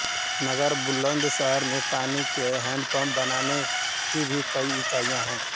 नगर बुलन्दशहर में पानी के हेंडपम्प बनाने की भी कई ईकाई है